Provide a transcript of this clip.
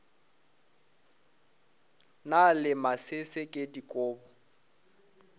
na le masese ke dikobo